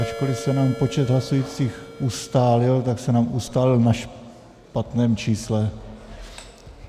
Ačkoliv se nám počet hlasujících ustálil, tak se nám ustálil na špatném čísle.